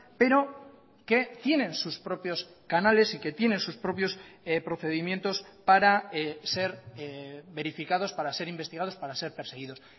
pero que tienen sus propios canales y que tienen sus propios procedimientos para ser verificados para ser investigados para ser perseguidos